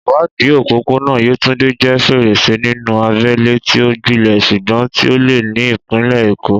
Ìwádìí òpópónà Yetunde jẹ́ fèrèsé sínú abẹ́lẹ̀ tí ó gbilẹ̀ ṣùgbọ́n tí ó le ní ìpínlẹ̀ Èkó.